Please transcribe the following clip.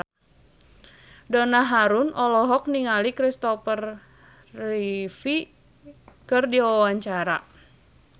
Donna Harun olohok ningali Christopher Reeve keur diwawancara